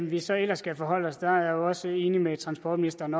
vi så ellers skal forholde os er jeg jo også enig med transportministeren